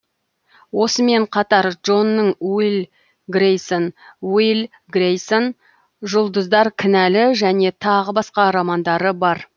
осымен қатар джонның уилл грейсон уилл грейсон жұлдыздар кінәлі және тағы басқа романдары бар